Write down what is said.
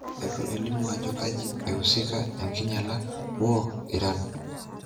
Etu elimu ajo kaji eusika enkinyala woo Iran